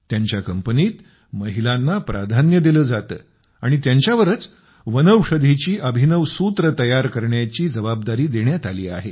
त्यांच्या कंपनीत महिलांना प्राधान्य दिले जाते आणि त्यांच्यावरच वनौषधीची अभिनव सूत्रे तयार करण्याची जबाबदारी देण्यात आली आहे